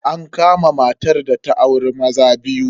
An kama matar da ta auri maza biyu.